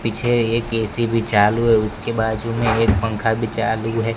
पीछे एक ए_सी भी चालू है उसके बाजू में एक पंखा भी चालू है।